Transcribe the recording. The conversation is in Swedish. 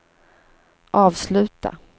avsluta